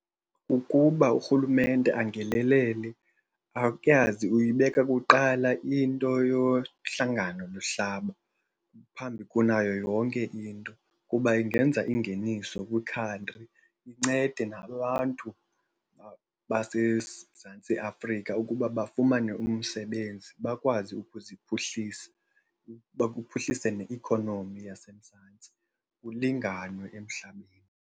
Kukuba urhulumente angenelele, ayazi uyibeka kuqala into yohlanganomhlaba phambi kunayo yonke into. Kuba ingenza ingeniso kwikhantri, incede nabantu baseMzantsi Afrika ukuba bafumane umsebenzi bakwazi ukuziphuhlisa, uba kuphuhlise ne-economy yaseMzantsi, kulinganwe emhlabeni.